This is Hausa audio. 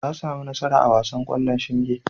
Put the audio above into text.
Ta sami nasara a wasan ƙwallon shinge.